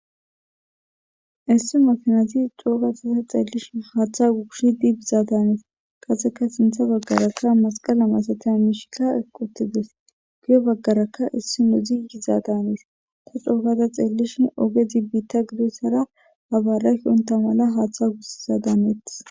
issi makanazi xoogatasa xeellishi haaththa gugushi dibizadanes kaseka sintha baggarakka masqala masatay mishika equtides giyo baggarakka issi nudziyizaadanes ko xoogada xeellishi ogezi biitta gidoyssara habaaraki unta mala haaththa guszadanetis